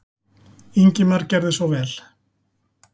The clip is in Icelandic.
Ingimar gerðu svo vel.